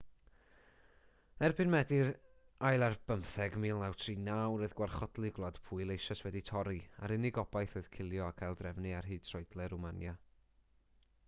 erbyn medi 17 1939 roedd gwarchodlu gwlad pwyl eisoes wedi torri a'r unig obaith oedd cilio ac aildrefnu ar hyd troedle rwmania